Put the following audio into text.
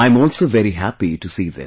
I am also very happy to see this